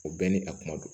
O bɛɛ ni a kuma don